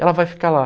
Ela vai ficar lá.